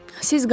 Siz qalın.